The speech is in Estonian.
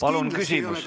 Palun küsimus!